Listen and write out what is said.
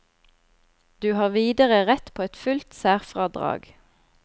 Du har videre rett på et fullt særfradrag.